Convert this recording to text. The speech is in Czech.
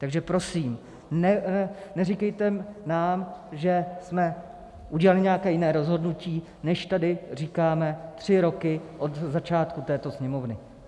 Takže prosím, neříkejte nám, že jsme udělali nějaké jiné rozhodnutí, než tady říkáme tři roky od začátku této Sněmovny.